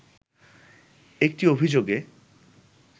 একটি অভিযোগে